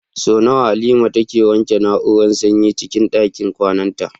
Sau nawa Halima take wanke na'urar sanyin cikin ɗakin kwananta?